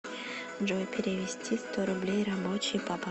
джой перевести сто рублей рабочий папа